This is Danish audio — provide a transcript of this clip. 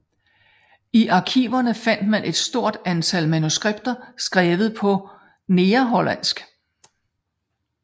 I arkiverne fandt man et stort antal manuskripter skrevet på negerhollandsk